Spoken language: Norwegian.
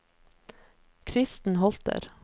Kristen Holter